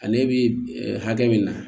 Ale bi hakɛ min na